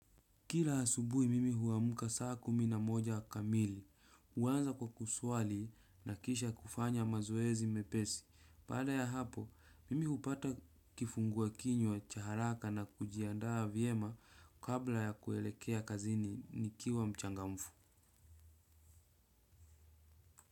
Kila asubuhi mimi uamuka saa kumi na moja kamili. Uanza kwa kuswali na kisha kufanya mazoezi mepesi. Baada ya hapo mimi hupata kifungua kinywa cha haraka na kujiandaa vyema kabla ya kuelekea kazini nikiwa mchangamfu.